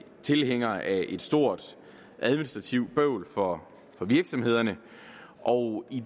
tilhængere af et stort administrativt bøvl for virksomhederne og i